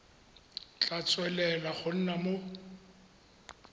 tla tswelela go nna mo